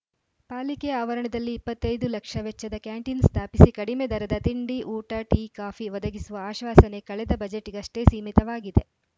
ಪಾಲಿಕೆ ಆವರಣದಲ್ಲಿ ಇಪ್ಪತ್ತ್ ಐದು ಲಕ್ಷ ವೆಚ್ಚದ ಕ್ಯಾಂಟೀನ್‌ ಸ್ಥಾಪಿಸಿ ಕಡಿಮೆ ದರದ ತಿಂಡಿ ಊಟ ಟೀ ಕಾಫಿ ಒದಗಿಸುವ ಆಶ್ವಾಸನೆ ಕಳೆದ ಬಜೆಟ್‌ಗಷ್ಟೇ ಸೀಮಿತವಾಗಿದೆ